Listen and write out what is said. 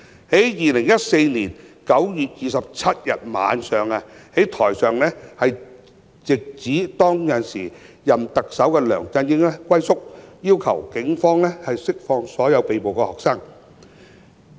2014年9月27日晚上，台上直指時任特首梁振英"龜縮"，要求警方釋放所有被捕學生。